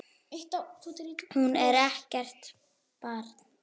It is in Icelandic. Hún er ekkert barn.